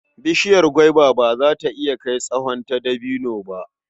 Bishiyar gwaiba ba za ta iya kai tsawon ta dabino ba.